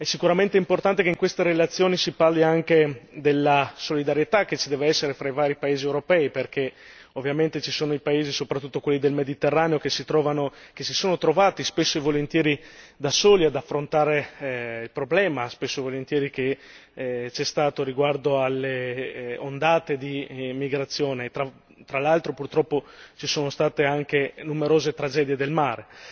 È sicuramente importante che in questa relazione si parli anche della solidarietà che ci deve essere tra i vari paesi europei, perché ovviamente ci sono i paesi, soprattutto quelli del Mediterraneo, che si sono trovati spesso e volentieri da soli ad affrontare il problema, spesso e volentieri che lo è stato riguardo alle ondate di immigrazione e tra l'altro, purtroppo ci sono state anche numerose tragedie del mare.